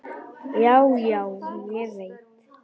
Já, já, ég veit.